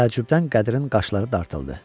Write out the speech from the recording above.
Təəccübdən Qədirin qaşları dartıldı.